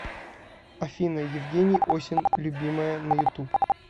афина евгений осин любимая на ютуб